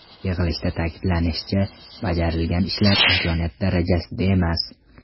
Yig‘ilishda ta’kidlanishicha, bajarilgan ishlar imkoniyat darajasida emas.